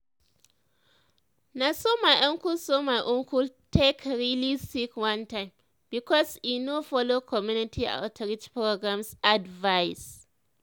na so my uncle so my uncle take really sick one time because e no follow community outreach programs advice.